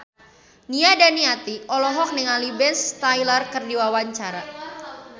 Nia Daniati olohok ningali Ben Stiller keur diwawancara